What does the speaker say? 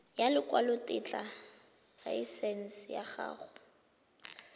ya lekwalotetla laesense ya go